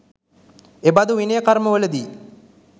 එබඳු විනය කර්මවලදී